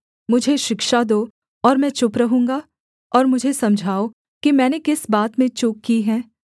मुझे शिक्षा दो और मैं चुप रहूँगा और मुझे समझाओ कि मैंने किस बात में चूक की है